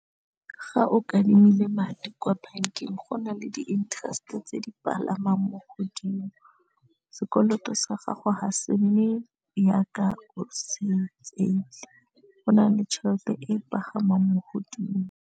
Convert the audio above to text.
Ga o kadimile madi kwa bankeng go na le di-interest tse di palamang mo godimo, sekoloto sa gago ha se mme yaka o se tseile go na le tšhelete e pagamang mo godimo.